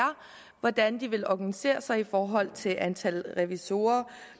hvordan de vil organisere sig i forhold til antallet af revisorer